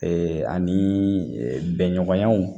ani bɛɲɔgɔnyaw